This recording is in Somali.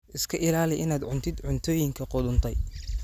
Iska ilaali inaad cuntid cuntooyinka qudhuntay.